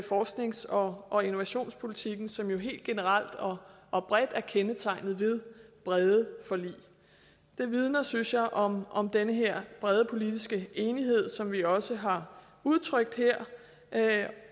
forsknings og og innovationspolitikken som jo helt generelt og og bredt er kendetegnet ved brede forlig det vidner synes jeg om om den her brede politiske enighed som vi også har udtrykt her